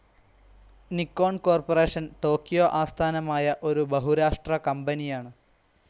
Nikon corporation Tokyo ആസ്ഥാനമായ ഒരു ബഹുരാഷ്ട്ര കമ്പനിയാണ്.